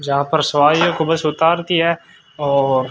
जहां पर सवारियों को बस उतारती है और--